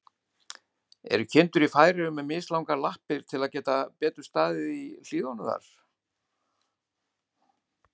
Eru kindur í Færeyjum með mislangar lappir, til að geta staðið betur í hlíðunum þar?